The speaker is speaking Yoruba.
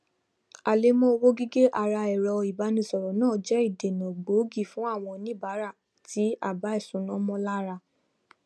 àlẹmọ owó gege ara ẹrọ ìbánisọrọ náà jẹ ìdènà gbòógì fún àwọn oníbàárà tí àbá ìṣúná mọ lára